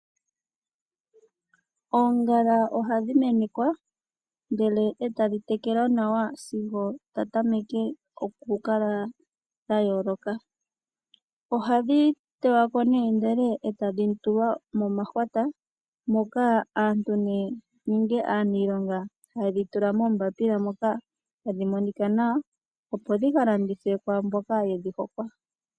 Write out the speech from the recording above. Oongala ohadhi menekwa ndele e tadhi tekelwa nawa sigo dha tameke okukala dha yooloka. Ohadhi teywa ko nee ndele e tadhi tulwa momahwata, moka aantu nenge aaniilonga haye dhi tula moombapila moka hadhi monika nawa, opo dhika landithwe kwaa mboka yedhi hokwa.